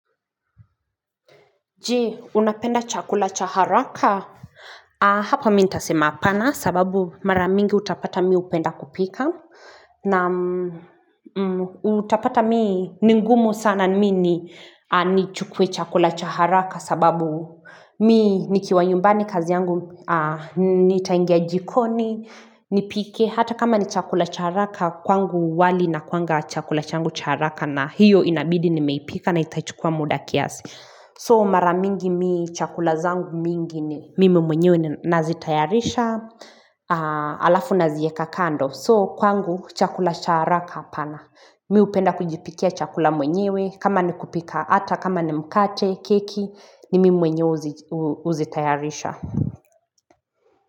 Je, unapenda chakula cha haraka? Hapa mi nitasema apana sababu mara mingi utapata mi upenda kupika. Na utapata mii, ni ngumu sana ni mii ni chukue chakula cha haraka sababu mii nkiwa nyumbani kazi yangu nitaingia jikoni nipike Hata kama ni chakula cha haraka, kwangu wali na inakuanga chakula changu cha haraka na hiyo inabidi nimeipika na itachukua muda kiasi. So mara mingi mi chakula zangu mingi ni mimi mwenyewe nazitayarisha alafu nazieka kando. So kwangu chakula cha haraka hapana. Mi upenda kujipikia chakula mwenyewe kama ni kupika ata kama ni mkate keki ni mimi mwenyewe uzitayarisha.